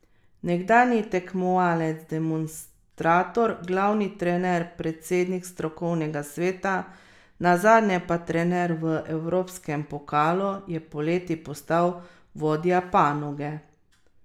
Nekdanji tekmovalec, demonstrator, glavni trener, predsednik strokovnega sveta, nazadnje pa trener v evropskem pokalu je poleti postal vodja panoge.